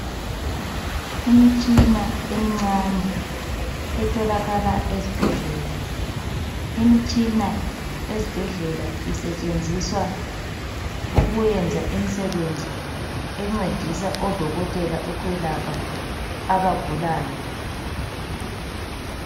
Imitshina emincane etholakala ezibhedlela. Imitshina ezibhedlela isetshenziswa ukuyenza imsebenzi encedisa odokotela ukwelapha abagulayo.